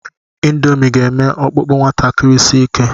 Ịndomii ga-eme ọkpụkpụ nwatakịrị si ike.